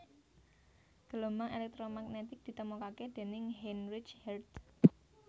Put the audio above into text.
Gelombang èlèktromagnetik ditemokaké déning Heinrich Hertz